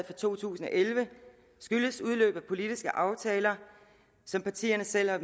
for to tusind og elleve skyldes udløb af politiske aftaler som partierne selv har